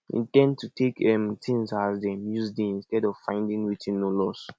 in ten d to take um things as dem use dey instead of finding wetin no loss